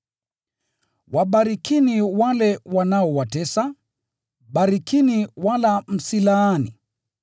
Wabarikini wale wanaowatesa, barikini wala msilaani.